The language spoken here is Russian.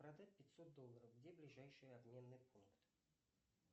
продать пятьсот долларов где ближайший обменный пункт